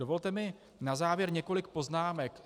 Dovolte mi na závěr několik poznámek.